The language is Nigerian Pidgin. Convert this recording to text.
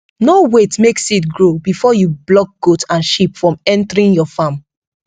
no wait make seed grow before you block goat and sheep from entering your farm